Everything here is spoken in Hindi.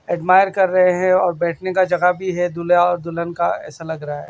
एडमायर कर रहे हैं और बैठने का जगह भी है दुल्हा और दुल्हन का ऐसा लग रहा है।